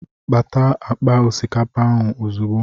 Pata akpa osikapa ahụ ozugbo!